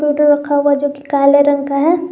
Photo रखा हुआ जो कि काले रंग का है।